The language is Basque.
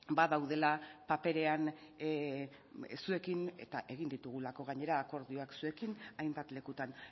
badaudela paperean zuekin eta egin ditugulako gainera akordioak zuekin hainbat lekutan